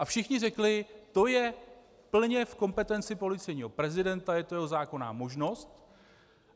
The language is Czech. A všichni řekli: To je plně v kompetenci policejního prezidenta, je to jeho zákonná možnost.